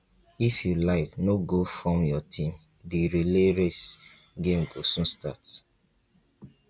if you like no go form your team the relay race game go soon start